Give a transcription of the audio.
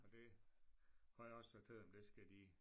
Og det har jeg også fortalt dem det skal de